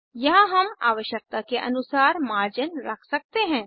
यहाँ हम आवश्यकता के अनुसार मर्जिन्स रख सकते हैं